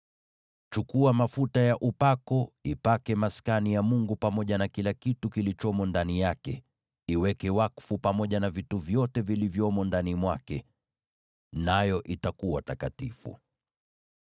“Chukua mafuta ya upako, ipake Maskani ya Mungu pamoja na kila kitu kilichomo ndani yake; iweke wakfu pamoja na vitu vyote vilivyomo ndani mwake, nayo itakuwa takatifu.